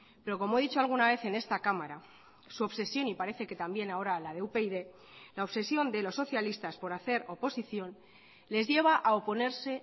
pero como he dicho alguna vez en esta cámara su obsesión y parece que también ahora la de upyd la obsesión de los socialistas por hacer oposición les lleva a oponerse